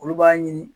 Olu b'a ɲini